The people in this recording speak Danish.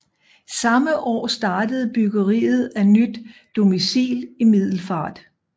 Samme år startede byggeriet af nyt domicil i Middelfart